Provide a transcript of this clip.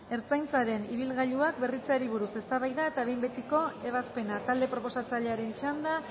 ertzaintzaren ibilgailuak berritzeari buruz eztabaida eta behin betiko ebazpena talde proposatzailearen txanda